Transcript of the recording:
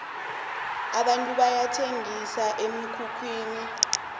abantu bayathengisa emikhukhwini